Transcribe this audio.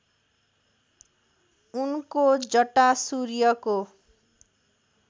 उनको जटा सूर्यको